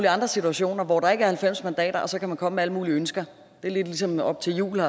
andre situationer hvor der ikke er halvfems mandater og så kan man komme med alle mulige ønsker det er lidt ligesom op til jul